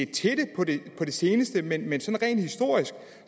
til det på det seneste men rent historisk